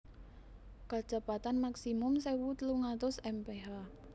Kecepatan Maksimum sewu telung atus mph